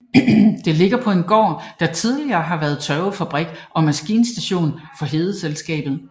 Det ligger på en gård der tidligere har været tørvefabrik og maskinstation for Hedeselskabet